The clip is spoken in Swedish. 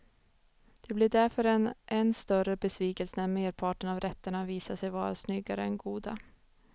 Det blir därför en än större besvikelse när merparten av rätterna visar sig vara snyggare än goda.